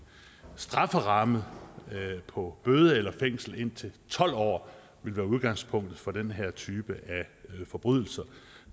strafferamme på bøde eller fængsel indtil tolv år vil være udgangspunktet for den her type af forbrydelser